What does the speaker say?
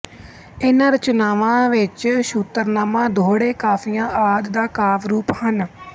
ਇਹਨਾਂ ਰਚਨਾਵਾਂ ਵਿੱਚ ਸ਼ੁਤਰਨਾਮਾ ਦੋਹੜੇ ਕਾਫੀਆਂ ਆਦਿ ਦਾ ਕਾਵਿ ਰੂਪ ਹਨ